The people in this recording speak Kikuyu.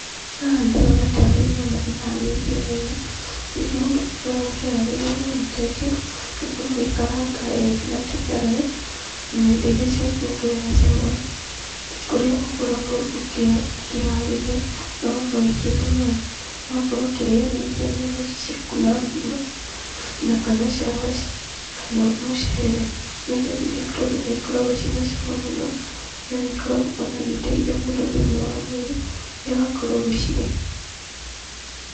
Haha ndĩrona tarĩ nyama iharĩirio wega. Rĩrĩa mũndũ akoragwo akĩharĩria nyama ta ici, nĩ ũkoragwo ũgĩkaranga wega na tũnyanya na indo irĩa ciakuongerera cama, kũrĩa ũkoragwo ũkĩharĩria na ũgakorwo wĩkĩrĩte maaĩ. No ũkorwo ũkĩrĩanĩria nyama ici ciaku na ngima, na kana cabaci, kana mũcere, nĩ tondũ nĩ ikoragwo ciĩna cama mũno na nĩ ikoragwo ona igĩteithia mũndũ thĩiniĩ wa mwĩrĩ, rĩrĩa ũrakorwo ũgĩcirĩa.